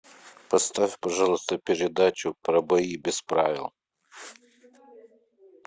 поставь пожалуйста передачу про бои без правил